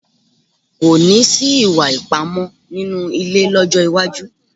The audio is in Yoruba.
Kò ní sí ìwà ipá mọ́ nínú ilé lọ́jọ́ iwájú